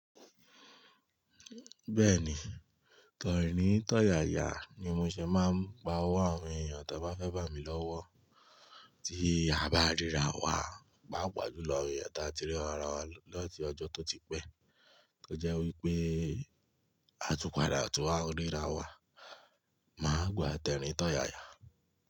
Bẹ́ẹ̀ni tẹ̀rín tọ̀yayà ní mo fí máa ń bá ọwọ́ àwọn ènìyàn tí ó bá fẹ́ bá mi lọ́wọ́ tí a bá rí àrá wá pàápàá jù lọ àwọn ènìyàn tí a ti rí àrá wá ní ọjọ́ tí ó ti pé tó jẹ́ wípé á tún padà tún wà rí àrá wá má gbá tẹ̀rín tọ̀yayà.